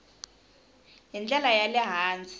hi ndlela ya le hansi